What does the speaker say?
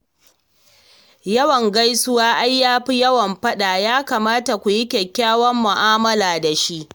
Yawan gaisuwa ai ya fi yawan faɗa, ya kamata kuyi kyakkyawar mu'amala da shi.